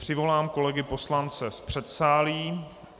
Přivolám kolegy poslance z předsálí.